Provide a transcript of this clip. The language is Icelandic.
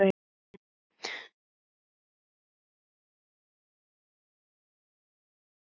Friðrik, þú hefur lifað af flugferðina